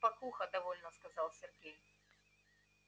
спокуха довольно сказал сергей